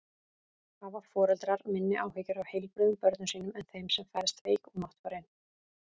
Hafa foreldrar minni áhyggjur af heilbrigðum börnum sínum en þeim sem fæðast veik og máttfarin?